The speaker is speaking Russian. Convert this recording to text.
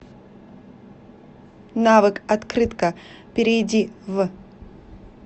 навык открытка перейди в